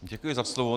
Děkuji za slovo.